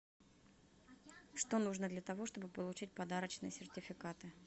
что нужно для того чтобы получить подарочные сертификаты